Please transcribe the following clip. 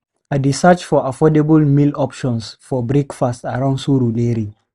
I dey search for affordable meal options for breakfast around Surulere.